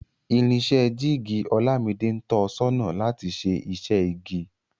Irinṣẹ́ jíìgì Olámidé ń tọ sọ́nà láti ṣe iṣẹ́ igi